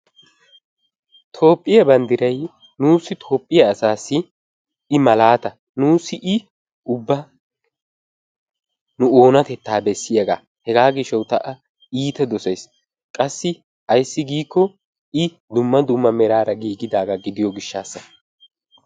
Toophiyaa bonddray nuussi Toophiyaa asassi i malaata, nuussi i ubba nu oonatetta bessiyaaga. Hegaa gishshawu taani a iitta dossays. qassi ayssi giiko i dumma dumma meraara giigidaaga gidiyo gishshassa.